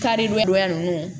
Karidonyadonya ninnu